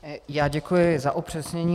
Já děkuji za upřesnění.